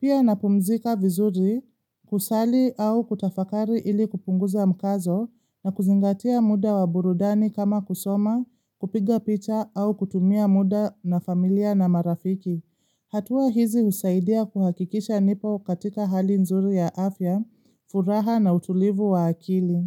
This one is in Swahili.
Pia na pumzika vizuri kusali au kutafakari ili kupunguza mkazo na kuzingatia muda wa burudani kama kusoma, kupiga picha au kutumia muda na familia na marafiki. Hatua hizi usaidia kuhakikisha nipo katika hali nzuri ya afya, furaha na utulivu wa akili.